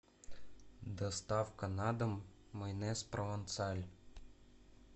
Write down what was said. доставка на дом майонез провансаль